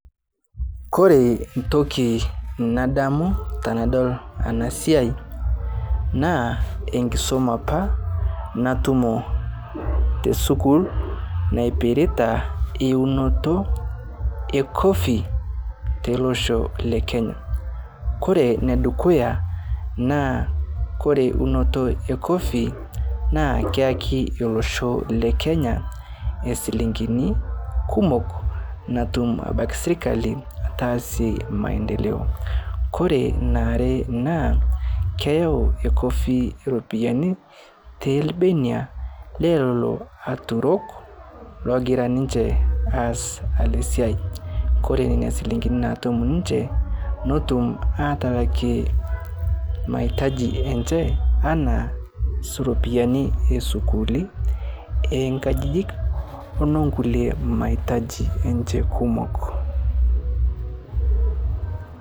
Kore ntoki nadamu tanadol ana siai naa nkisuma apa natumo teskul napirita eunoto coffee telosho lekenya kore nedukuya, naa Kore unoto cs] coffee naa keyaki olosho lekenya silingini kumok natum abaki srikali atasie maendeleo, Kore naare naa keyau cs] coffee ropiyani telbenia nelolo aturok logira ninche aas ale siai kore nenia silingini natum ninche notum atalake maitaji enche ana sii ropiyani esukuli nkajijik nonkule maitaji enche kumok